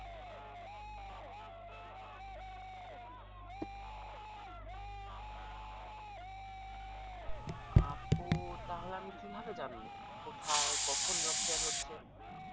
আপু তাহলে আমি কি ভাবে জানবো কোথায় কখন job fair হচ্ছে